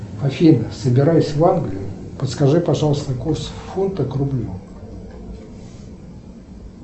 афина собираюсь в англию подскажи пожалуйста курс фунта к рублю